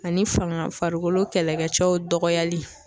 Ani fanga farikolo kɛlɛkɛcɛw dɔgɔyali